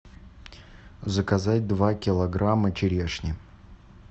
заказать два килограмма черешни